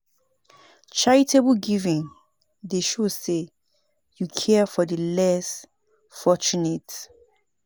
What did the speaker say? Charitable giving dey show say yu care for di less fortunate.